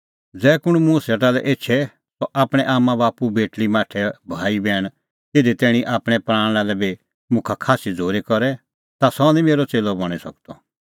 ज़ै कुंण मुंह सेटा लै एछे सह आपणैं आम्मांबाप्पू बेटल़ी माठै भाई बैहण इधी तैणीं कि आपणैं प्राणा लै बी मुखा खास्सी झ़ूरी करे तै निं सह मेरअ च़ेल्लअ बणीं सकदअ